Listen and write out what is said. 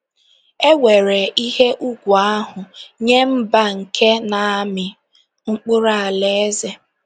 E weere ihe ùgwù ahụ nye mba nke na -- amị mkpụrụ Alaeze.